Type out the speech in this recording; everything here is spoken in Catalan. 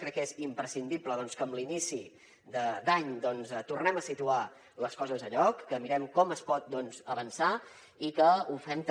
crec que és imprescindible que amb l’inici d’any doncs tornem a situar les coses a lloc que mirem com es pot avançar i que ho fem també